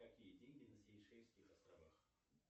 какие деньги на сейшельских островах